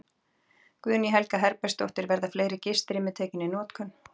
Guðný Helga Herbertsdóttir: Verða fleiri gistirými tekin í notkun?